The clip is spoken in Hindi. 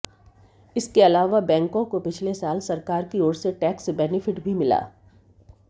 इसके अलावा बैंकों को पिछले साल सरकार की ओर से टैक्स बेनिफिट भी मिला